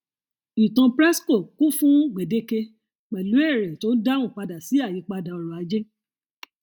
ìtàn presco kún fún gbèdeke pẹlú èrè tó ń dáhùn sí ayípadà ọrọ ajé